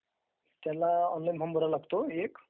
त्याला online form भरावा लागतो...एक